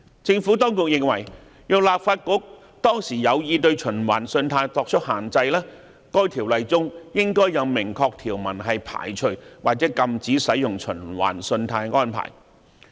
政府當局認為，若立法局當時有意對循環信貸作出限制，該《條例》中應該有明確條文排除或禁止使用循環信貸安排。